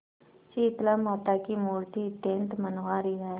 शीतलामाता की मूर्ति अत्यंत मनोहारी है